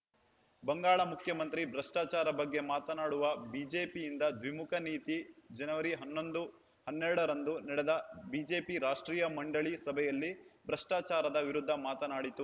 ಬಂಗಾಳ ಮುಖ್ಯಮಂತ್ರಿ ಭ್ರಷ್ಟಾಚಾರ ಬಗ್ಗೆ ಮಾತಾಡುವ ಬಿಜೆಪಿಯಿಂದ ದ್ವಿಮುಖ ನೀತಿ ಜನವರಿ ಹನ್ನೊಂದು ಹನ್ನೆರಡ ರಂದು ನಡೆದ ಬಿಜೆಪಿ ರಾಷ್ಟ್ರೀಯ ಮಂಡಳಿ ಸಭೆಯಲ್ಲಿ ಭ್ರಷ್ಟಾಚಾರದ ವಿರುದ್ಧ ಮಾತನಾಡಿತು